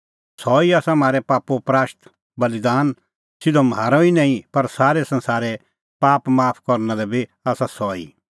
सह ई आसा म्हारै पापो प्राशतबल़ीदान सिधअ म्हारै ई निं पर सारै संसारे पाप माफ करना लै बी आसा सह ई